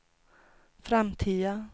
framtiden